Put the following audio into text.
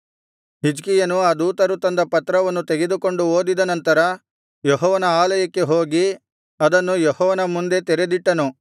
ಹಿಜ್ಕೀಯನು ಆ ದೂತರು ತಂದ ಪತ್ರವನ್ನು ತೆಗೆದುಕೊಂಡು ಓದಿದ ನಂತರ ಯೆಹೋವನ ಆಲಯಕ್ಕೆ ಹೋಗಿ ಅದನ್ನು ಯೆಹೋವನ ಮುಂದೆ ತೆರೆದಿಟ್ಟನು